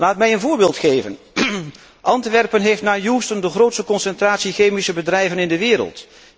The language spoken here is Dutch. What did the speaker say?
Laat mij een voorbeeld geven. Antwerpen heeft na Houston de grootste concentratie chemische bedrijven in de wereld.